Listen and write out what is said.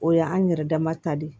O y'an yɛrɛ dama ta de ye